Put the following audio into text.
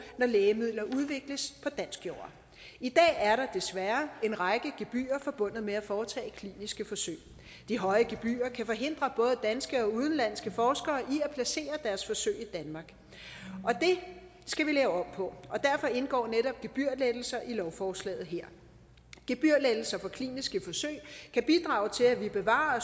når lægemidler udvikles på dansk jord i dag er der desværre en række gebyrer forbundet med at foretage kliniske forsøg de høje gebyrer kan forhindre både danske og udenlandske forskere i at placere deres forsøg i danmark og det skal vi lave om på derfor indgår netop gebyrlettelser i lovforslaget her gebyrlettelser på kliniske forsøg kan bidrage til at vi bevarer